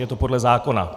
Je to podle zákona.